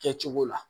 Kɛcogo la